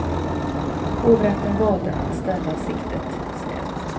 Hovrätten valde att ställa siktet snävt.